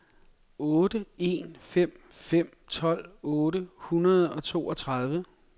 otte en fem fem tolv otte hundrede og toogtredive